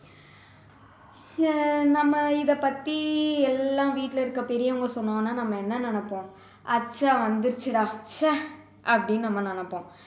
ஆஹ் நம்ம இதை பத்தி எல்லாம் வீட்டுல இருக்க பெரியவங்க சொன்னாங்கன்னா நம்ம என்ன நினைப்போம் அடச்சே வந்துடுச்சுடா ச்சே அப்படின்னு நம்ம நினைப்போம்